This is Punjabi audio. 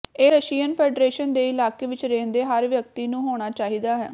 ਇਹ ਰਸ਼ੀਅਨ ਫੈਡਰੇਸ਼ਨ ਦੇ ਇਲਾਕੇ ਵਿਚ ਰਹਿੰਦੇ ਹਰ ਵਿਅਕਤੀ ਨੂੰ ਹੋਣਾ ਚਾਹੀਦਾ ਹੈ